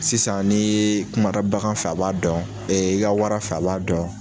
Sisan nii ye kumara bagan fɛ a b'a dɔn e i ka wara fɛ a b'a dɔn